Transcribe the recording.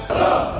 Hopp!